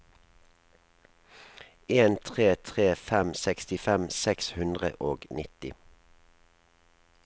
en tre tre fem sekstifem seks hundre og nitti